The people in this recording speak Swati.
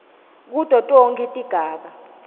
kuto tonkhe tigaba